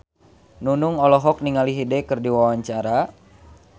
Nunung olohok ningali Hyde keur diwawancara